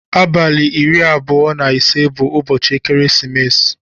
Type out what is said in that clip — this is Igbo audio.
Abali iri abụọ na ise bu ụbọchi ekeresimesi.